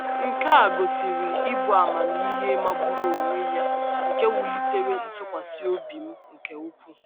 Nke a gosiri ịbụ ahụmịhe magburu onwe ya nke wulitere ntụkwasị obi m nke um ukwuu.